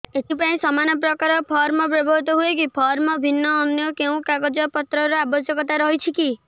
ଏଥିପାଇଁ ସମାନପ୍ରକାର ଫର୍ମ ବ୍ୟବହୃତ ହୂଏକି ଫର୍ମ ଭିନ୍ନ ଅନ୍ୟ କେଉଁ କାଗଜପତ୍ରର ଆବଶ୍ୟକତା ରହିଛିକି